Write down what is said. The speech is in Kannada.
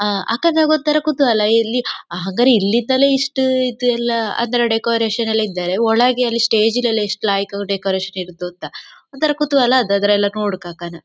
ಆಂ ಅಕ್ಕ ನಂಗೊಂಥರ ಕುತೂಹಲ ಇಲ್ಲಿ ಹಂಗರೆ ಇಲ್ಲಿದ್ದಲ್ಲೆ ಇಷ್ಟು ಇದು ಎಲ್ಲ ಅಂದರೆ ಡೆಕೋರೇಶನ್ ಎಲ್ಲ ಇದ್ದರೆ ಒಳಗೆ ಅಲ್ಲಿ ಸ್ಟೇಜ್ ಲಿ ಎಲ್ಲ ಎಷ್ಟು ಲಾಯಕ್ ಆಗಿ ಡೆಕೋರೇಶನ್ ಇರತ್ತೋ ಅಂತ ಒಂಥರ ಕುತೂಹಲ ಅದರೆಲ್ಲ ನೋಡಕ್ಕಾಕನ.